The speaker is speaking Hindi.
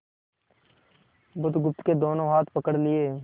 बुधगुप्त के दोनों हाथ पकड़ लिए